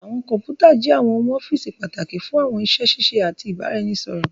Àwọn kọnputa jé àwọn ohùn ọ́fíìsì pàtàkì fún àwọn iṣé ṣiṣẹ àti ibaraẹnisọrọ.